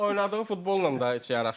oynadığı futbolla da heç yaraşmır.